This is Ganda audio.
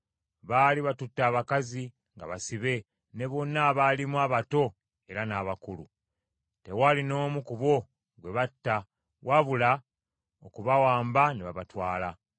Baali batutte abakazi nga basibe, ne bonna abaalimu, abato era n’abakulu. Tewaali n’omu ku bo gwe batta, wabula okubawamba ne babatwala.